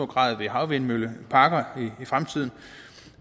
grad ved havvindmølleparker i fremtiden